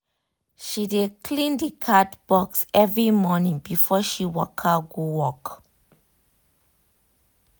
she dey clean the cat box every morning before she waka go work